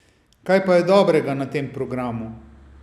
Kaj pa je dobrega na tem programu?